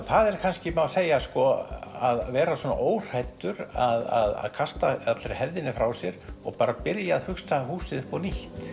það má kannski segja að vera óhræddur að kasta hefðinni frá sér og byrja að hugsa húsið upp á nýtt